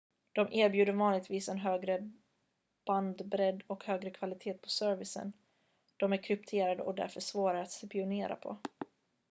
de erbjuder vanligtvis en högre bandbredd och högre kvalitet på servicen de är krypterade och därför svårare att spionera på